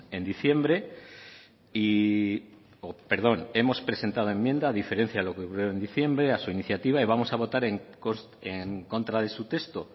en diciembre a su iniciativa y vamos en contra de su texto